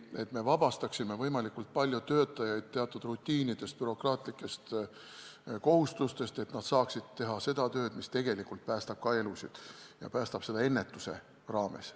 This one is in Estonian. On vaja vabastada võimalikult palju töötajaid teatud rutiinidest, bürokraatlikest kohustustest, et nad saaksid teha seda tööd, mis tegelikult päästab elusid, ja seda ennetuse abil.